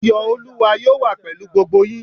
Ayọ̀ olúwa yóò wà pèlú gbogbo yín